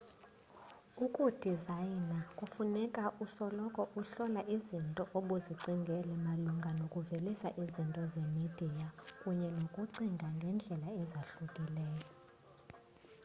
ukudizayina kufuna usoloko uhlola izinto obuzicingele malunga nokuvelisa izinto zemidiya kunye nokucinga ngendlela ezahlukileyo